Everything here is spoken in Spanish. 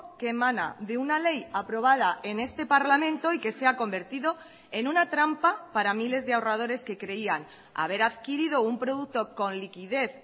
que emana de una ley aprobada en este parlamento y que se ha convertido en una trampa para miles de ahorradores que creían haber adquirido un producto con liquidez